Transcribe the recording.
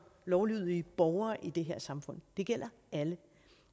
lovlydige borgere i det her samfund det gælder alle